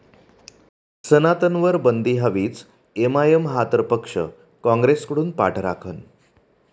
सनातन'वर बंदी हवीच!, एमआयएम हा तर पक्ष, काँग्रेसकडून पाठराखण